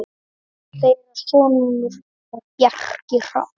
Þeirra sonur er Bjarki Hrafn.